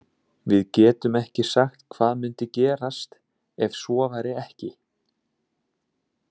Við getum ekki sagt hvað myndi gerast ef svo væri ekki.